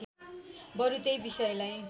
बरु त्यही विषयलाई